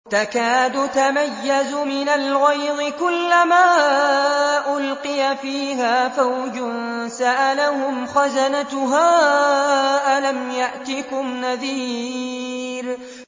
تَكَادُ تَمَيَّزُ مِنَ الْغَيْظِ ۖ كُلَّمَا أُلْقِيَ فِيهَا فَوْجٌ سَأَلَهُمْ خَزَنَتُهَا أَلَمْ يَأْتِكُمْ نَذِيرٌ